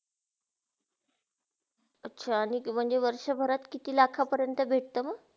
अच्छा! आणि ती म्हणजे वर्षाभऱ्यात किती लाखा परंत भेटत म?